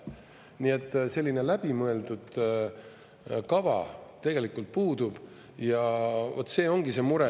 Nii et, selline läbimõeldud kava tegelikult puudub ja vat see ongi see mure.